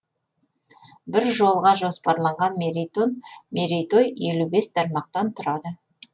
бір жылға жоспарланған мерейтой елу бес тармақтан тұрады